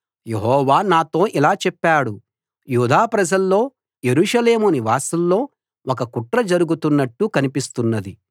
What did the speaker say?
యెహోవా నాతో ఇలా చెప్పాడు యూదా ప్రజల్లో యెరూషలేము నివాసుల్లో ఒక కుట్ర జరుగుతున్నట్టు కనిపిస్తున్నది